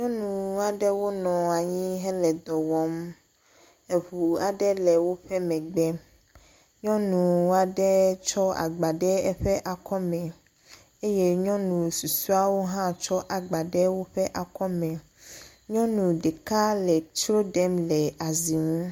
Nyɔnu aɖewo nɔ anyi hele dɔ wɔm. eŋu aɖe le woƒe megbe. Nyɔnu aɖe tsɔ agba ɖe eƒe akɔme eye nyɔnu susɔewo hã tsɔ agba ɖe woƒe akɔ me. Nyɔnu ɖeka le tsro ɖem le azi ŋu.